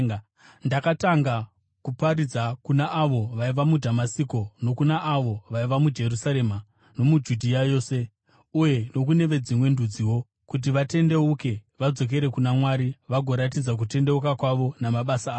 Ndakatanga kuparidza kuna avo vaiva muDhamasiko, nokuna avo vaiva muJerusarema nomuJudhea yose, uye nokune veDzimwe Ndudziwo kuti vatendeuke vadzokere kuna Mwari vagoratidza kutendeuka kwavo namabasa avo.